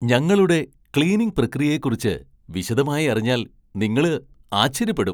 ഞങ്ങളുടെ ക്ലീനിംഗ് പ്രക്രിയയെക്കുറിച്ച് വിശദമായി അറിഞ്ഞാൽ നിങ്ങള് ആശ്ചര്യപ്പെടും .